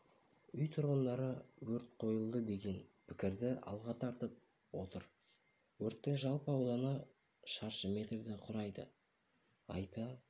үй тұрғындары өрт қойылды деген пікірді алға тартып отыр өрттің жалпы ауданы шаршы метрді құрады айта